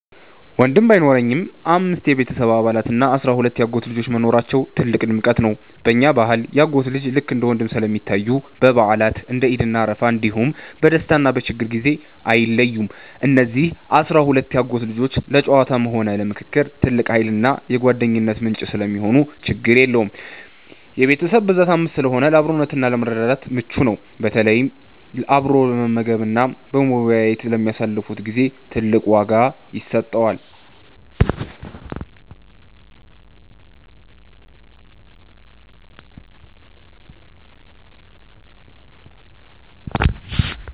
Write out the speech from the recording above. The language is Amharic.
ወንድም ባይኖረኝም፣ አምስት የቤተሰብ አባላት እና አሥራ ሁለት የአጎት ልጆች መኖራቸው ትልቅ ድምቀት ነው። በእኛ ባህል የአጎት ልጆች ልክ እንደ ወንድም ስለሚታዩ፣ በበዓላት (እንደ ዒድ እና አረፋ) እንዲሁም በደስታና በችግር ጊዜ አይለዩም። እነዚህ አሥራ ሁለት የአጎት ልጆች ለጨዋታም ሆነ ለምክክር ትልቅ ኃይልና የጓደኝነት ምንጭ ሰለሚሆኑ ችግር የለውም። የቤተሰብ ብዛት 5 ስለሆነ ለአብሮነትና ለመረዳዳት ምቹ ነው፤ በተለይ አብሮ በመመገብና በመወያየት ለሚያሳልፉት ጊዜ ትልቅ ዋጋ ይሰጠዋል።